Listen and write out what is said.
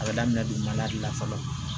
A bɛ daminɛ dugumala de la fɔlɔ